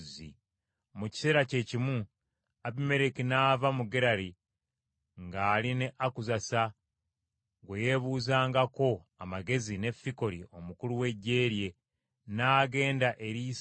Mu kiseera kye kimu Abimereki n’ava mu Gerali ng’ali ne Akuzasa gwe yeebuuzangako amagezi ne Fikoli omukulu w’eggye lye, n’agenda eri Isaaka.